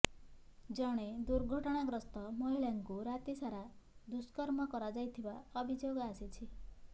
ଜଣେ ଦୁର୍ଘଟଣାଗ୍ରସ୍ତ ମହିଳାଙ୍କୁ ରାତିସାରା ଦୁଷ୍କର୍ମ କରାଯାଇଥିବା ଅଭିଯୋଗ ଆସିଛି